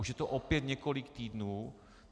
Už je to opět několik týdnů.